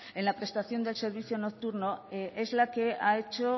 en la prestación del servicio nocturno es la que ha hecho